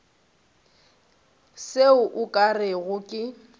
seo o ka rego ke